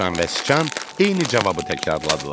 Dovşan və Sıçan eyni cavabı təkrarladılar.